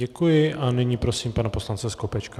Děkuji a nyní prosím pana poslance Skopečka.